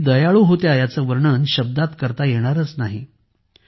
त्या किती दयाळू होत्या याचे वर्णन शब्दात करता येणारच नाही